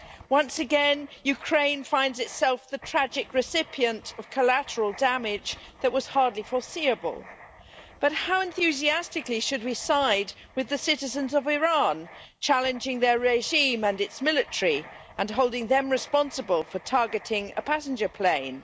Once again, Ukraine finds itself the tragic recipient of collateral damage that was hardly foreseeable, but how enthusiastically should we side with the citizens of Iran challenging their regime and its military and holding them responsible for targeting a passenger plane?